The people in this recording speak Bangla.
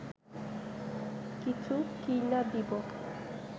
কিছু কিইন্যা দিব